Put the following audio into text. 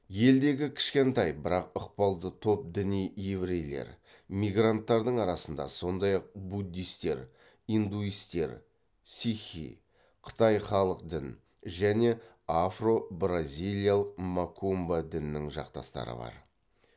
елдегі кішкентай бірақ ықпалды топ діни еврейлер мигранттардың арасында сондай ақ буддистер индуистер сикхи қытай халық дін және афро бразилиялық макумба діннің жақтастары бар